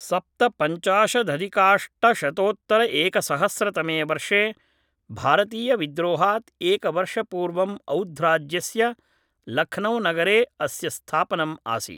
सप्तपञ्चाशदधिकाष्टशतोत्तरएकसहस्रतमे वर्षे भारतीयविद्रोहात् एकवर्षपूर्वं औध्राज्यस्य लख्नौनगरे अस्य स्थापनम् आसीत्